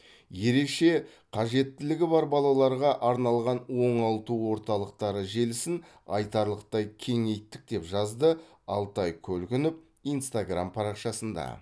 ерекше қажеттілігі бар балаларға арналған оңалту орталықтары желісін айтарлықтай кеңейттік деп жазды алтай көлгінов инстаграм парақшасында